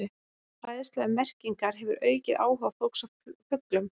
Fræðsla um merkingar hefur aukið áhuga fólks á fuglum.